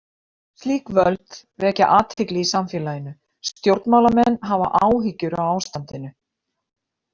Slík völd vekja athygli í samfélaginu, stjórnmálamenn hafa áhyggjur af ástandinu.